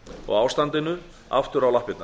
og ástandinu aftur á lappirnar